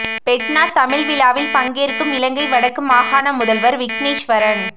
FeTNA Tamil விழாவில் பங்கேற்கும் இலங்கை வடக்கு மாகாண முதல்வர் விக்னேஸ்வரன்